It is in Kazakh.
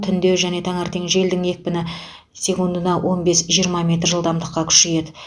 түнде және таңертең желдің екпіні секундына он бес жиырма метр жылдамдықа күшейеді